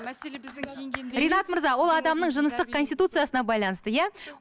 ринат мырза ол адамның жыныстық конституциясына байланысты иә